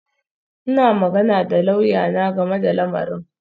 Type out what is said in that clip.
Ina magana da lauyana game da lamarin